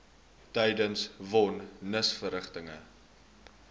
tydens von nisverrigtinge